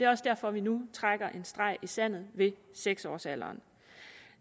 også derfor vi nu trækker en streg i sandet ved seks års alderen